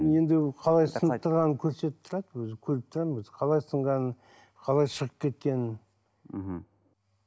енді қалай сынып тұрғанын көрсетіп тұрады өзі көріп тұрамын өзі қалай сынғанын қалай шығып кеткенін мхм